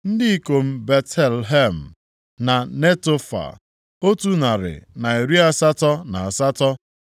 Ndị ikom Betlehem na Netofa, otu narị na iri asatọ na asatọ (188),